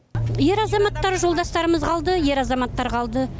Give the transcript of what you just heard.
ер азаматтар жолдастарымыз қалды ер азаматтар қалды